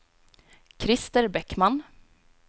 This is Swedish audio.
Krister Bäckman